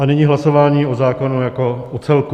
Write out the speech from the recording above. A nyní hlasování o zákonu jako o celku.